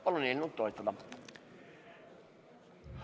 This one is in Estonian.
Palun eelnõu toetada!